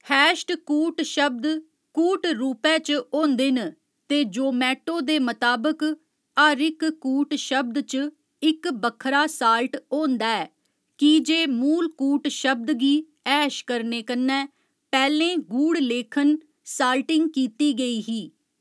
Hatched कूटशब्द कूट रूपै च होंदे न, ते जोमैटो दे मताबक, हर इक कूटशब्द च इक बक्खरा साल्ट होंदा ऐ, की जे मूल कूटशब्द गी हैश करने कन्नै पैह्‌लें गूढ़लेखन साल्टिंग कीती गेई ही।